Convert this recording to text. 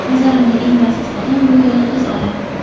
Nazarimda eng baxtsiz odam bu yolg‘iz odam.